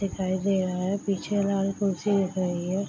दिखाई दे रहा है पीछे वाली कुर्सी दिख रही है।